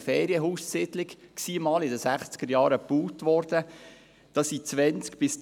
Eine Ferienhaussiedlung, die in den 1960er-Jahren gebaut worden ist.